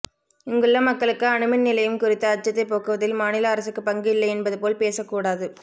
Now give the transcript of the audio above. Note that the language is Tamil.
இங்குள்ள மக்களுக்கு அணுமின் நிலையம் குறித்த அச்சத்தை போக்குவதில் மாநில அரசுக்கு பங்கு இல்லை என்பது போல் பேசக் கூடாது